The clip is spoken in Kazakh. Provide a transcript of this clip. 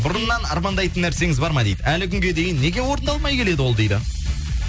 бұрыннан армандайтын нәрсеңіз бар ма дейді әлі күнге дейін неге орындалмай келеді ол дейді